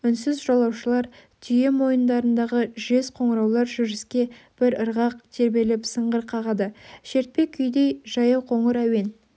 үнсіз жолаушылар түйе мойындарындағы жез қоңыраулар жүріске бір ырғақ тербеліп сыңғыр қағады шертпе күйдей жаяуқоңыр әуен